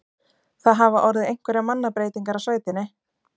Það hafa orðið einhverjar mannabreytingar á sveitinni?